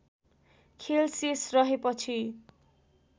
खेल शेष रहेपछि